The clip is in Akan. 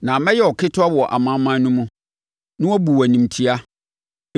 “Na mɛyɛ wo ketewa wɔ amanaman no mu, na wɔabu wo animtia.